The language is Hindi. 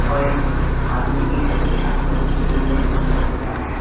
और एक आदमी भी है जो कि हाथ में कुछ लिए हुए अंदर को जा रहा है।